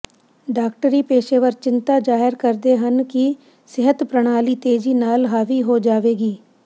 ਡਾਕਟਰੀ ਪੇਸ਼ੇਵਰ ਚਿੰਤਾ ਜ਼ਾਹਰ ਕਰਦੇ ਹਨ ਕਿ ਸਿਹਤ ਪ੍ਰਣਾਲੀ ਤੇਜ਼ੀ ਨਾਲ ਹਾਵੀ ਹੋ ਜਾਵੇਗੀ